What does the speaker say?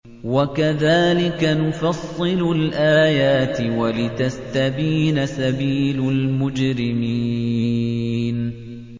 وَكَذَٰلِكَ نُفَصِّلُ الْآيَاتِ وَلِتَسْتَبِينَ سَبِيلُ الْمُجْرِمِينَ